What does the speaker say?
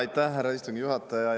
Aitäh, härra istungi juhataja!